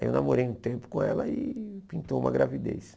Aí eu namorei um tempo com ela e pintou uma gravidez.